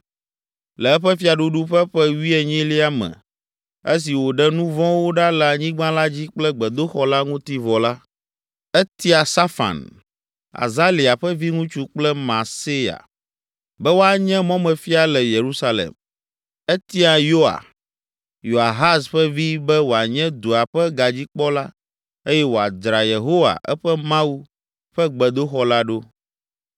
Le eƒe fiaɖuɖu ƒe ƒe wuienyilia me, esi wòɖe nu vɔ̃wo ɖa le anyigba la dzi kple gbedoxɔ la ŋuti vɔ la, etia Safan, Azalia ƒe viŋutsu kple Maaseya, be woanye mɔmefia le Yerusalem. Etia Yoa, Yoahaz ƒe vi be wòanye dua ƒe gadzikpɔla eye wòadzra Yehowa, eƒe Mawu, ƒe gbedoxɔ la ɖo.